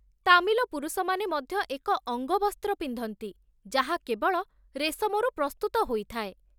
ତାମିଲ ପୁରୁଷମାନେ ମଧ୍ୟ ଏକ ଅଙ୍ଗବସ୍ତ୍ର ପିନ୍ଧନ୍ତି, ଯାହା କେବଳ ରେଶମରୁ ପ୍ରସ୍ତୁତ ହୋଇଥାଏ